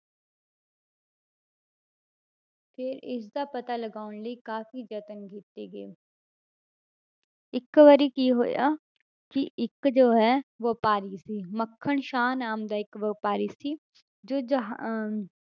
ਫਿਰ ਇਸਦਾ ਪਤਾ ਲਗਾਉਣ ਲਈ ਕਾਫ਼ੀ ਯਤਨ ਕੀਤੇ ਗਏ ਇੱਕ ਵਾਰੀ ਕੀ ਹੋਇਆ ਕਿ ਇੱਕ ਜੋ ਹੈ ਵਾਪਾਰੀ ਸੀ ਮੱਖਣ ਸ਼ਾਹ ਨਾਮ ਦਾ ਇੱਕ ਵਾਪਾਰੀ ਸੀ ਜੋ ਜਹਾ~ ਅਹ